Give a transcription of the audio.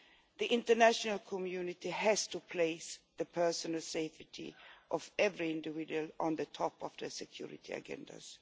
The international community has to place the personal safety of every individual on the top of their security agendas.